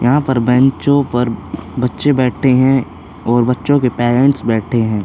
यहाँ पर बैंचो पर बच्चे बैठे है और बच्चों के पेरेंट्स बैठे हैं।